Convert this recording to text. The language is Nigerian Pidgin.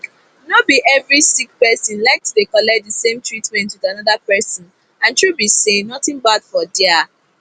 no be every sick person like to dey collect the same treatment with another person and true be say nothing bad for there